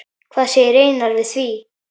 Hvað segir Einar við því?